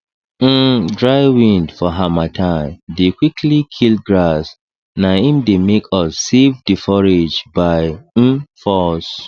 um dry wind for hamattan dey quickly kill grass na im dey make us save the forage by um force